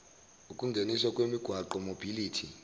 ukungeniswa kwemigwaqo mobility